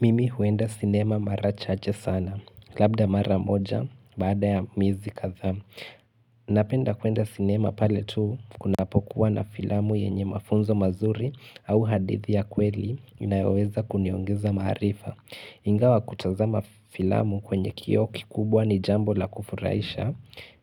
Mimi huenda sinema mara chache sana, labda mara moja, bada ya miezi kadha. Napenda kuenda sinema pale tu, kuna po kuwa na filamu yenye mafunzo mazuri au hadithi ya kweli inayoweza kuniongeza maarifa. Ingawa kutazama filamu kwenye kioo kikubwa ni jambo la kufuraisha,